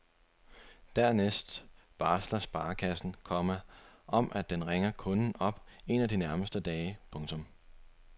Dernæst varsler sparekassen, komma at den ringer kunden op en af de nærmeste dage. punktum